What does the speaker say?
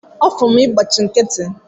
Ọfọn ị gbachi nkịtị!